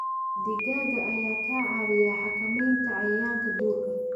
Digaagga ayaa ka caawiya xakamaynta cayayaanka duurka.